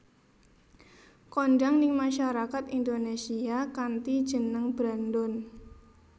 Kondhang ning masyarakat Indonésia kanthi jeneng Brandon